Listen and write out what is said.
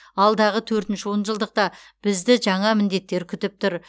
алдағы төртінші он жылдықта бізді жаңа міндеттер күтіп тұр